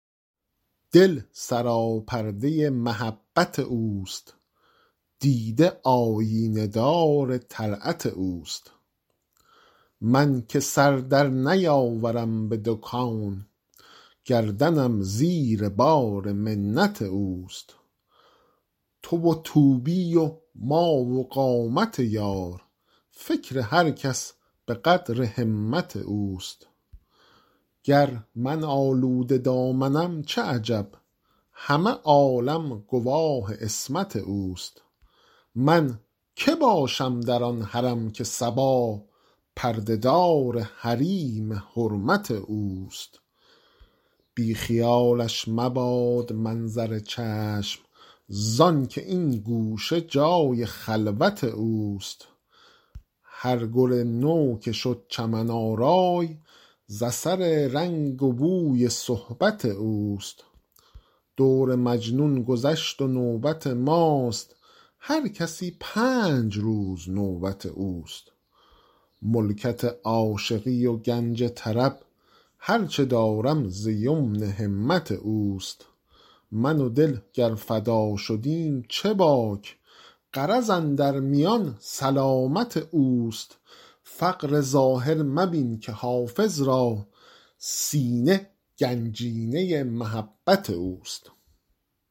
دل سراپرده محبت اوست دیده آیینه دار طلعت اوست من که سر در نیاورم به دو کون گردنم زیر بار منت اوست تو و طوبی و ما و قامت یار فکر هر کس به قدر همت اوست گر من آلوده دامنم چه عجب همه عالم گواه عصمت اوست من که باشم در آن حرم که صبا پرده دار حریم حرمت اوست بی خیالش مباد منظر چشم زآن که این گوشه جای خلوت اوست هر گل نو که شد چمن آرای ز اثر رنگ و بوی صحبت اوست دور مجنون گذشت و نوبت ماست هر کسی پنج روز نوبت اوست ملکت عاشقی و گنج طرب هر چه دارم ز یمن همت اوست من و دل گر فدا شدیم چه باک غرض اندر میان سلامت اوست فقر ظاهر مبین که حافظ را سینه گنجینه محبت اوست